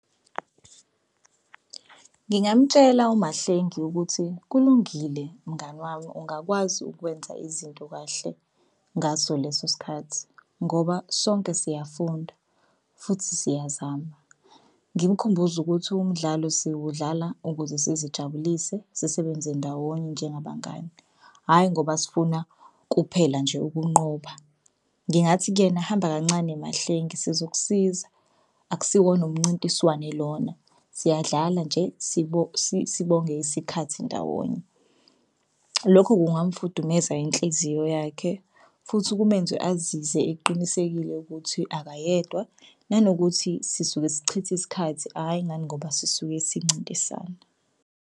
Ngingamtshela uMahlengi ukuthi, kulungile mngani wami ungakwazi ukwenza izinto kahle ngaso leso sikhathi ngoba sonke siyafunda futhi siyazama. Ngimkhumbuze ukuthi umdlalo siwudlala ukuze sizijabulise sisebenze ndawonye njengabangani, hhayi ngoba sifuna kuphela nje ukunqoba. Ngingathi kuyena hamba kancane Mahlengi sizokusiza, akusiwona umncintiswane lona siyadlala nje sibonge isikhathi ndawonye. Lokho kungamfudumeza inhliziyo yakhe futhi kumenze azize eqinisekile ukuthi akayedwa nanokuthi sisuke sichitha isikhathi hhayi ngani ngoba sisuke sincintisana.